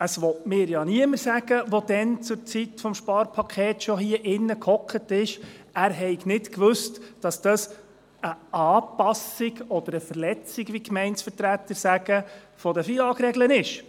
Es will mir ja niemand erzählen, der zur Zeit des Sparpakets schon hier im Saal sass, er habe nicht gewusst, dass es eine Anpassung oder eine Verletzung, wie die Gemeindevertreter sagen, der FILAG-Regeln ist.